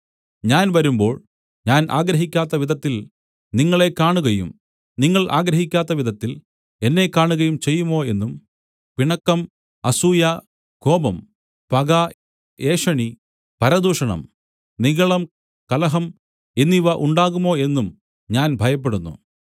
ഞാൻ വരുമ്പോൾ ഞാൻ ആഗ്രഹിക്കാത്ത വിധത്തിൽ നിങ്ങളെ കാണുകയും നിങ്ങൾ ആഗ്രഹിക്കാത്ത വിധത്തിൽ എന്നെ കാണുകയും ചെയ്യുമോ എന്നും പിണക്കം അസൂയ കോപം പക ഏഷണി പരദൂഷണം നിഗളം കലഹം എന്നിവ ഉണ്ടാകുമോ എന്നും ഞാൻ ഭയപ്പെടുന്നു